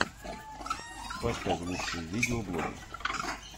поставь лучшие видеоблоги